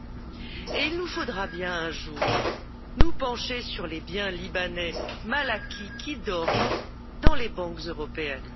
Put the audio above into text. Par ailleurs, il nous faudra bien un jour nous pencher sur les biens libanais mal acquis qui dorment dans les banques européennes.